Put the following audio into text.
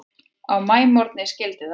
Á maímorgni skyldi það vera.